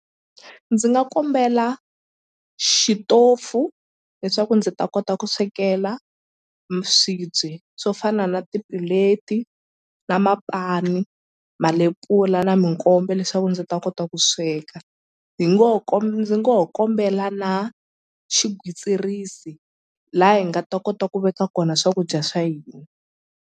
Ndzi nga kombela xitofu leswaku ndzi ta kota ku swekela swibye swo fana na ti-plate na mapani malepula na mikombe leswaku ndzi ta kota ku sweka hi ngo ho ndzi ngo ho kombela na xigwitsirisi la hi nga ta kota ku veka kona swakudya swa hina.